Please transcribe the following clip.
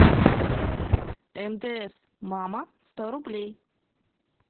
мтс мама сто рублей